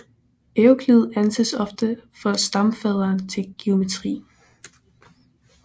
Euklid anses ofte for stamfaderen til geometri